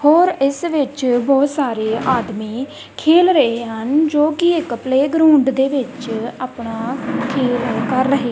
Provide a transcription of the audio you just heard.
ਹੋਰ ਇੱਸ ਵਿੱਚ ਬੋਹਤ ਸਾਰੇ ਆਦਮੀ ਖੇਲ ਰਹੇ ਹਨ ਜੋਕੀ ਇੱਕ ਪ੍ਲੇਗਰਾਊਂਡ ਦੇ ਵਿੱਚ ਅਪਣਾ ਖੇਲ ਕਰ ਰਹੇ।